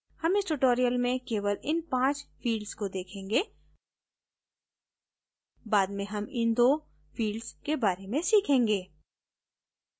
हम इस tutorial में केवल इन पाँच fields को देखेंगे बाद में हम इन दो fields के बारे में सीखेंगे